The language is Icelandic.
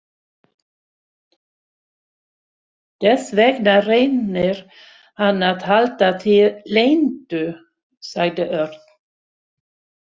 Þess vegna reynir hann að halda því leyndu, sagði Örn.